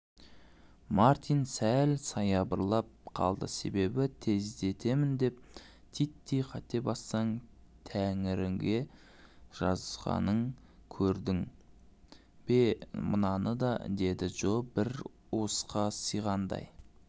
мартин сәл саябырлап қалды себебі тездетемін деп титтей қате бассаң тәңіріге жазғаныңкөрдің бе мынаны деді джо бір уысқа сиғандай